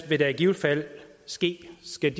vil der i givet fald ske skal